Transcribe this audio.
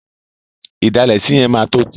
Ìdalẹ̀ sí yẹn máa tó kún.